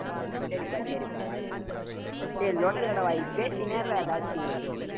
சரிப்பா, சரிப்பா வாயை மூடுப்பா. ஏய் லொட லொட வாய் பேசிட்டேயிரு எதாச்சி